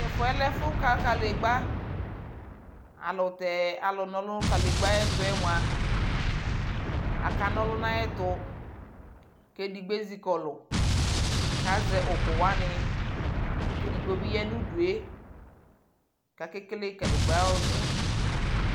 Tɛfu yɛ lɛ efu ka kanegba ayʋɛlʋtɛ alʋ na ɔlʋ nʋ kanegba ayʋɛtu yɛ mua, akana ɔlʋ nʋ ayʋɛtʋ kʋ edigbo ezikɔlʋ kazɛ ukuwani kʋ edigbo bi ya nʋ udu yɛ kʋ akekele kanegba ayʋɔlʋna yɛ